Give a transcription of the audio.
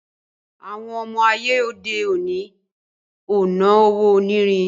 Àwon ọmọ Aye òde òni o no Owó onírin